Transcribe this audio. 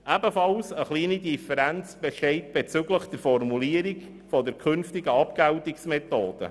Ebenfalls besteht eine kleine Differenz bezüglich der Formulierung der künftigen Abgeltungsmethode.